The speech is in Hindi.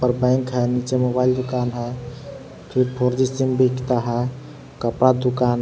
बैंक है नीचे मोबाइल दुकान है फिर फोर जी सिम बिकता है कपड़ा दुकान है।